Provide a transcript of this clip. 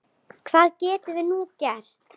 Hvað getum við nú gert?